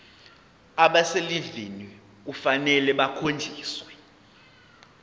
abaselivini kufanele bakhonjiswe